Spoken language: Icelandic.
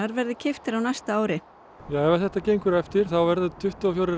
verði keyptir á næsta ári ef þetta gengur eftir þá verða tuttugu og fjórar